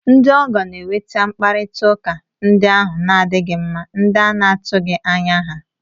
Ndị ọgọ na-eweta mkparịta ụka ndị ahụ na-adịghị mma, ndị a na-atụghị anya ha